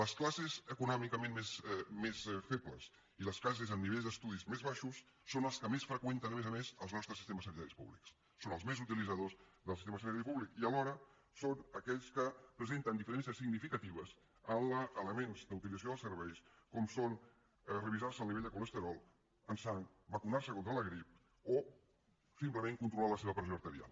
les classes econòmicament més febles i les classes amb nivells d’estudis més baixos són les que més freqüenten a més a més els nostres sistemes sanitaris públics són els més utilitzadors del sistema sanitari públic i alhora són aquells que presenten diferències significatives en elements d’utilització dels serveis com són revisar se el nivell de colesterol en sang vacunar se contra la grip o simplement controlar la seva pressió arterial